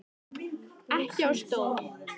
Ekki á stól.